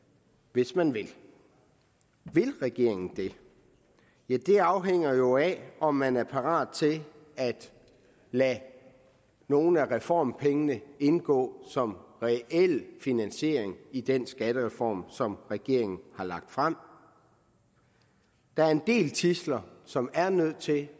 hvis man vil vil regeringen det ja det afhænger jo af om man er parat til at lade nogle af reformpengene indgå som reel finansiering i den skattereform som regeringen har lagt frem der er en del tidsler som er nødt til at